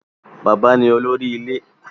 Bàbá ni olórí ilé